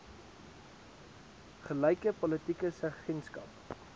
gelyke politieke seggenskap